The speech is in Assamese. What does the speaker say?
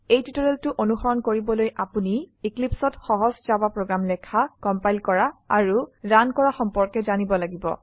এই টিউটৰিয়েলটো অনুসৰণ কৰিবলৈ আপোনি Eclipseঅত সহজ জাভা প্ৰোগ্ৰাম লেখা কম্পাইল কৰা আৰু ৰান কৰা সম্পৰ্কে জানিব লাগিব